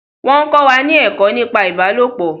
Wọn ń kọ́ wa ni ẹ̀kọ́ nípa ìbálopọ̀